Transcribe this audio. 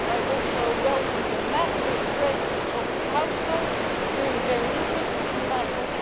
I also welcome the massive presence of the Council, who are clearly very interested in the matter.